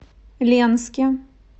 ленске